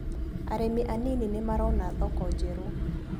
Arĩmi anini nĩmarona thoko njerũ.